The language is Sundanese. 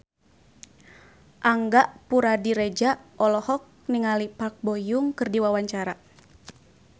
Angga Puradiredja olohok ningali Park Bo Yung keur diwawancara